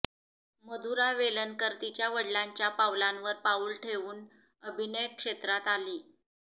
मधुरा वेलणकर तिच्या वडिलांच्या पावलांवर पाऊल ठेवून अभिनयक्षेत्रात आली